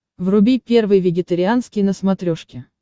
вруби первый вегетарианский на смотрешке